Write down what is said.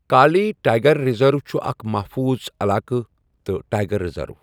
کالی tiger reserve چھُ اکھ محفوٗظ علاقہٕ تہٕ ٹائیگر ریزرو۔